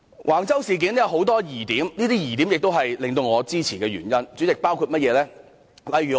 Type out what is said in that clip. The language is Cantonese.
橫洲事件有很多疑點，而這些疑點也是我支持這項議案的原因。